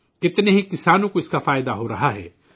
بہت سے کسانوں کو اس سے فائدہ ہورہا ہے